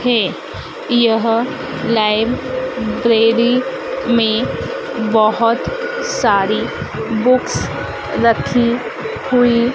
है। यह लाइब्रेरी में बहुत सारी बुक्स रखी हुई